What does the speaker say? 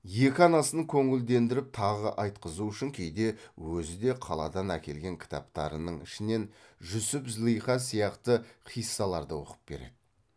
екі анасын көңілдендіріп тағы айтқызу үшін кейде өзі де қаладан әкелген кітаптарының ішінен жүсіп злиха сияқты қиссаларды оқып береді